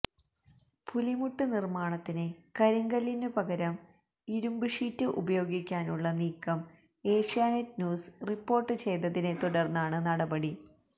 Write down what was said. പുലിമുട്ട് നിര്മാണത്തിന് കരിങ്കല്ലിനുപകരം ഇരുന്പ് ഷീറ്റ് ഉപയോഗിക്കാനുള്ള നീക്കം ഏഷ്യാനെറ്റ് ന്യൂസ് റിപ്പോര്ട്ട് ചെയ്തതിനെത്തുടര്ന്നാണ് നടപടി